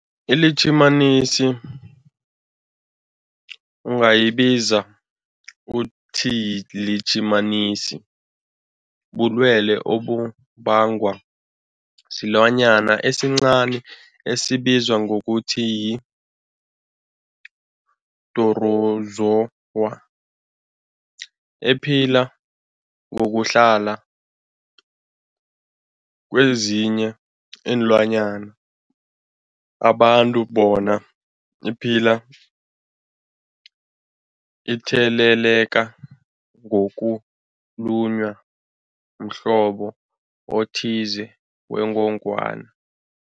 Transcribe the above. ILitjhimanisi ungayibiza uthiyilitjhimanisi, bulwelwe obubangwa silwanyana esincani esibizwa ngokuthiyi-phrotozowa ephila ngokuhlala kezinye iinlwanyana, abantu bona iphile itheleleka ngokulunywa mhlobo othize wengogwana.